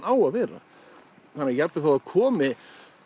á að vera á jafnvel þó það komi